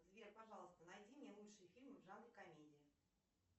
сбер пожалуйста найди мне лучшие фильмы в жанре комедии